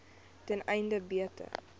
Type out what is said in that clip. ten einde beter